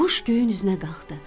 Quş göyün üzünə qalxdı.